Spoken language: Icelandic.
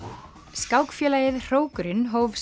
skákfélagið Hrókurinn hóf